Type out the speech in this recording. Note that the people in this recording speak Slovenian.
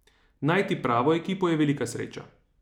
Najti pravo ekipo je velika sreča.